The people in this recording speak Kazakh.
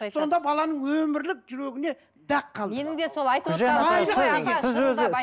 сонда баланың өмірлік жүрегіне дақ қалды